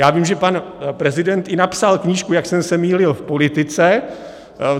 - Já vím, že pan prezident i napsal knížku Jak jsem se mýlil v politice.